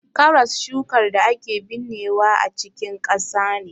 Karas shukar da ake binnewa a cikin ƙasa ne.